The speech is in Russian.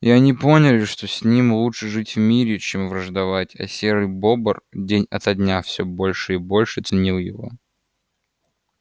и они поняли что с ним лучше жить в мире чем враждовать а серый бобр день ото дня всё больше и больше ценил его